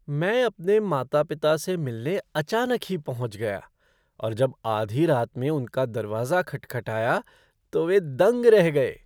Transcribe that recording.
मैं अपने माता पिता से मिलने अचानक ही पहुँच गया और जब आधी रात में उनका दरवाज़ा खटखटाया तो वे दंग रह गए!